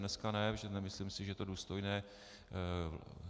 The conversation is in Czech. Dneska ne, protože nemyslím si, že to je důstojné.